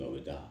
Aw bɛ taa